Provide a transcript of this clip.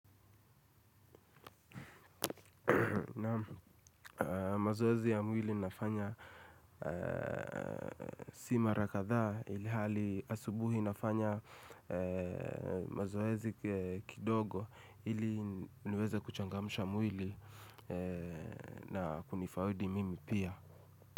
Naam, mazoezi ya mwili nafanya si mara kadhaa ilihali asubuhi nafanya mazoezi kidogo ili niweze kuchangamsha mwili na kunifaidi mimi pia.